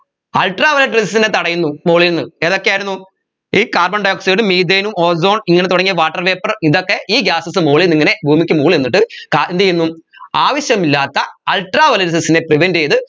ultraviolet rayses നെ തടയുന്നു മോളീന്ന് ഏതൊക്കെയായിരുന്നു ഈ carbon dioxide methane ഉം ozone ഇങ്ങനെ തുടങ്ങിയ water vapour ഇതൊക്കെ ഈ gases മോളീന്നിങ്ങനെ ഭൂമിക്ക് മോളിൽ നിന്നിട്ട് ക എന്തുചെയ്യുന്നു ആവശ്യമില്ലാത്ത ultraviolet rayses നെ prevent ചെയ്ത്